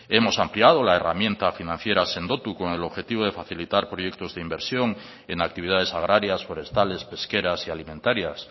hemos ampliado la herramienta financiera sendotu con el objetivo de facilitar proyectos de inversión en actividades agrarias forestales pesqueras y alimentarias